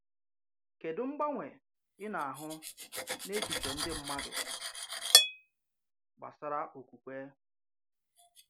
Kedụ mgbanwe ị̀ na-ahụ n’echiche ndị mmádụ gbàsàrà okwùkwé?